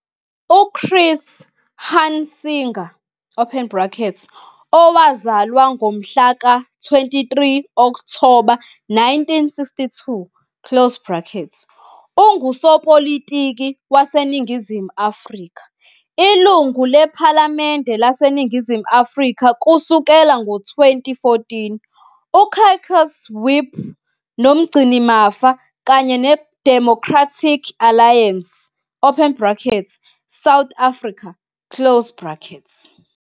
UChris Hunsinger, open bracket, owazalwa ngomhla ka-23 Okthoba 1962, close bracket, ungusopolitiki waseNingizimu Afrika, Ilungu lePhalamende laseNingizimu Afrika kusukela ngo-2014, uCaucus Whip noMgcinimafa kanye neDemocratic Alliance, open bracket, South Africa, close bracket.